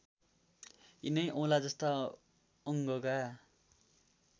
यिनै औँलाजस्ता अङ्गका